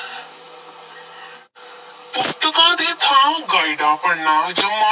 ਪੁਸਤਕਾਂ ਦੀ ਥਾਂ ਗਾਇਡਾਂ ਪੜ੍ਹਨਾ, ਜਮਾ